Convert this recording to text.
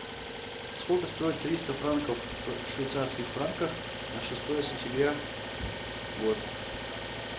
сколько стоит триста франков в швейцарских франках на шестое сентября год